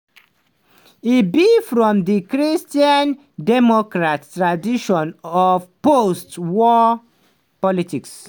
e begin from di christian democrat tradition of post-war politics.